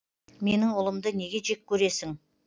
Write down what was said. менің ұлымды неге жек көресің